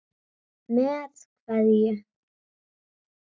Með kveðju.